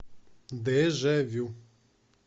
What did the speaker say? дежавю